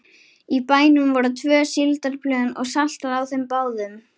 Í bænum voru tvö síldarplön og saltað á þeim báðum.